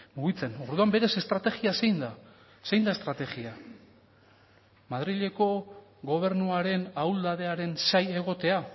mugitzen orduan berez estrategia zein da zein da estrategia madrileko gobernuaren ahuldadearen zain egotea